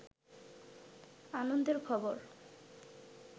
আনন্দের খবর